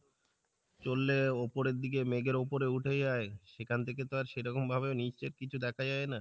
চরলে ওপরের দিকে মেঘের ওপরে উঠে যাই, সেখান থেকে তো আর সেরকম ভাবে নিচে কিছু দেখা যাই না,